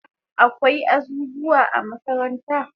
Akwai azuzuwa a makaranta